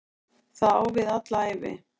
Það á við alla ævi.